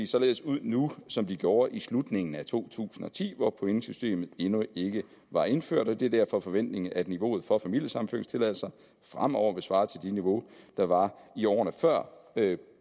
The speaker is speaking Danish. således ud nu som de gjorde i slutningen af to tusind og ti hvor pointsystemet endnu ikke var indført det er derfor foventningen at niveauet for familiesammenføringstilladelser fremover vil svare til det niveau der var i årene før